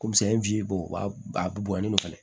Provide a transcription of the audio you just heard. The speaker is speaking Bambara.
Ko misɛn b'a a bɔnnen don ale